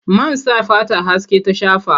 Man sa fata haske ta shafa.